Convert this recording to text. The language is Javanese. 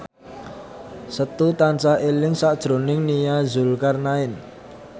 Setu tansah eling sakjroning Nia Zulkarnaen